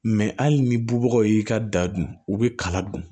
hali ni bubagaw y'i ka da dun u bi kala dun